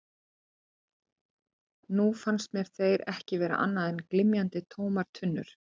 Nú fannst mér þeir ekki vera annað en glymjandi, tómar tunnur.